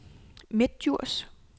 Midtdjurs